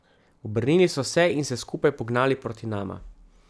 Obrnili so se in se skupaj pognali proti nama.